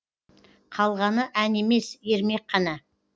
қалғаны ән емес ермек қана